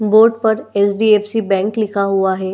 Board पर HDFC. Bank लिखा हुआ है।